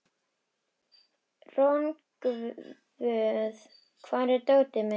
Rongvuð, hvar er dótið mitt?